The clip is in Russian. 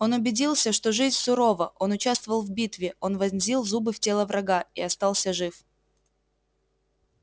он убедился что жизнь сурова он участвовал в битве он вонзил зубы в тело врага и остался жив